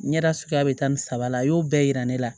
Ɲɛda suguya bɛ taa ni saba la a y'o bɛɛ yira ne la